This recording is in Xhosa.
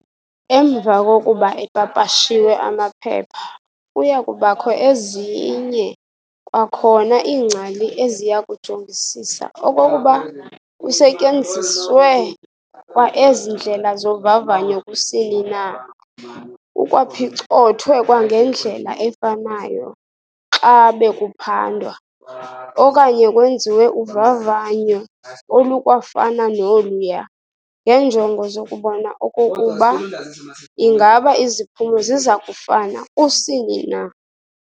Emva kokuba epapashiwe amaphepha, kuyakubakho ezinye kwakhona iingcali eziya kujongisisa okokuba kusetyenziswe kwa ezi ndlela zovavanyo kusini na, kukwaphicothwe kwangendlela efanayo xa bekuphandwa, okanye kwenziwe uvavanyo olukwafana noluya, ngeenjongo zokubona okokuba ingaba iziphumo zizakufana kusini na.